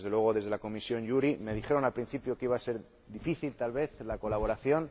Desde la Comisión JURI me dijeron, al principio, que iba a ser difícil, tal vez, la colaboración.